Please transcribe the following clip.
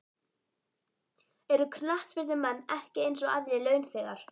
Eru knattspyrnumenn ekki eins og aðrir launþegar?